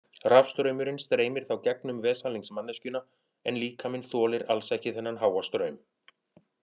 Rafstraumurinn streymir þá gegnum veslings manneskjuna en líkaminn þolir alls ekki þennan háa straum.